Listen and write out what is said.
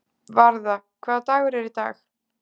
Varða, hvaða dagur er í dag?